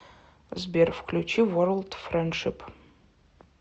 сбер включи ворлд френдшип